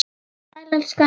Sæl, elskan.